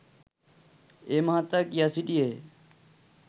ඒ මහතා කියා සිටියේය